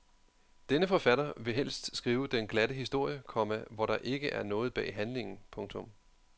Denne forfatter vil helst skrive den glatte historie, komma hvor der ikke er noget bag handlingen. punktum